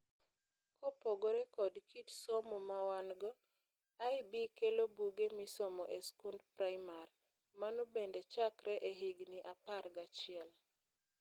Kopogore kod kit somo mawango, IB kelo buge misomo e skund primar. Mano bende chakre e higni apar gachiel.